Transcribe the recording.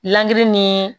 Lɛn ni